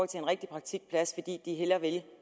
til en rigtig praktikplads fordi de hellere vil det